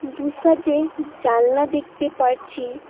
দু সাইডে জানলা দেখতে পারছি।